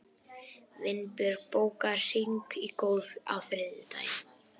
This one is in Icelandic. Vinbjörg, bókaðu hring í golf á þriðjudaginn.